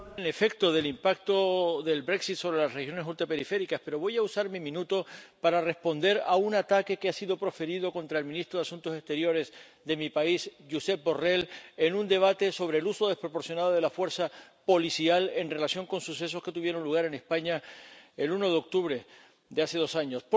Señor presidente, pensaba hablar del efecto del impacto del sobre las regiones ultraperiféricas, pero voy a usar mi minuto para responder a un ataque que ha sido proferido contra el ministro de Asuntos Exteriores de mi país, Josep Borrell, en un debate sobre el uso desproporcionado de la fuerza policial en relación con sucesos que tuvieron lugar en España el 1 de octubre de hace dos años.